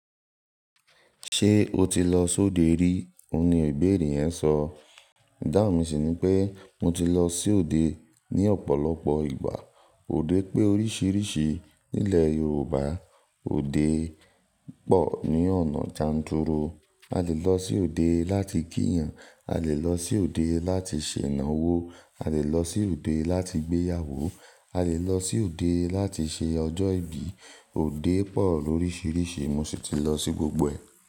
"Ṣé o ti lọ sọode rí?" Ó ní ibere yen sọ. Ìdáhun mi sì ni pé mo ti lọ sí òde ní ọ̀pọ̀lọpọ̀ ìgbà. Óde pe oríṣiríṣi nílẹ̀ Yorùbá òde pọ̀ ní ọ̀nà janturu. A lè lọ sí òde láti kí yàn, a lè lọ sí òde láti ṣènà wó, a lè lọ sí òde láti gbéyàwó, a lè lọ sí òde láti ṣe ọjọ́ ìbí. Òde pọ̀ lóríṣiríṣi mo sì ti lọ sí gbogbo ẹ̀